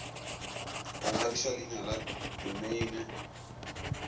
go ngwadiša leina la domeine